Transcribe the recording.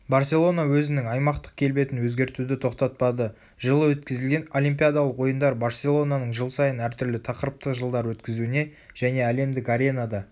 барселона өзінің аймақтық келбетін өзгертуді тоқтатпады жылы өткізілген олимпиядалық ойындар барселонаның жыл сайын әртүрлі тақырыптық жылдар өткізуіне және әлемдік аренада